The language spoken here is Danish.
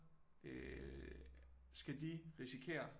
Øh skal de risikere